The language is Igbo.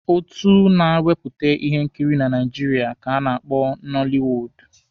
Otu na-ewepụta ihe nkiri na Naijiria ka a na-akpọ Nọlịwuudu.